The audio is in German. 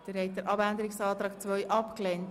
Sie haben den Abänderungsantrag 2 abgelehnt.